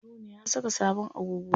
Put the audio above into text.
Haruna ya saka sabon agogo.